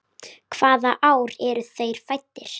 Hvaða ár eru þeir fæddir?